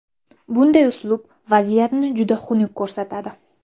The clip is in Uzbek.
Bunday uslub vaziyatni juda xunuk ko‘rsatadi.